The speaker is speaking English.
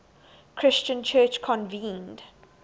christian church convened